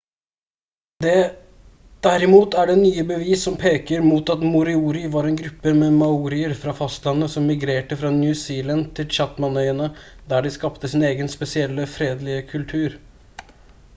derimot er det nye bevis som peker mot at moriori var en gruppe med maorier fra fastlandet som migrerte fra new zealand til chathamøyene der de skapte sin egen spesielle fredelige kultur